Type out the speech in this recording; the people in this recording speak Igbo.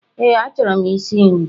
Ee, achọrọ ịsị nri.